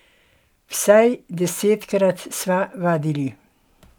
Vsaj desetkrat sva vadili.